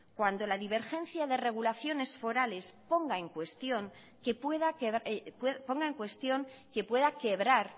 cuando la divergencia de regulaciones forales ponga en cuestión que pueda quebrar